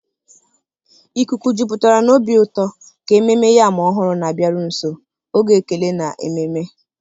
Ikuku jupụtara na obi ụtọ ka Ememme Yam Ọhụrụ na-abịaru nso, oge ekele na ememe.